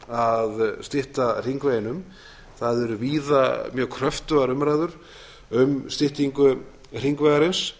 að stytta hringveginn um það eru víða mjög kröftugar umræður um styttingu hringvegarins